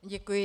Děkuji.